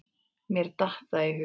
Mér datt það í hug.